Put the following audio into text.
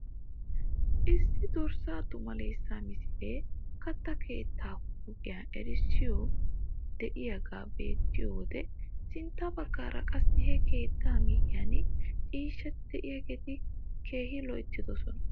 Issi dorssaa tumaalessaa misilee katta keettaa huuphphiyaa erissoy de'iyaaga be'iyoo wode sintta baggaara qassi he keettaa miyiyaan ciishshati de'iyaageti keehi loyttidosona.